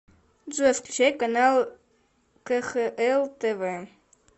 джой включай канал кхл тв